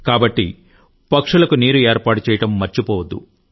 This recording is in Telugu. కాబట్టి పక్షులకు నీరు ఏర్పాటు చేయడం మర్చిపోవద్దు